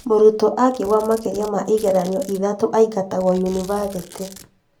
Mũrutwo angĩgũa makĩria ma igeranio ithathatũ aingatagwo yunibathĩtĩ